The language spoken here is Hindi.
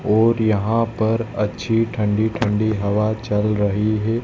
और यहां पर अच्छी ठंडी ठंडी हवा चल रही है।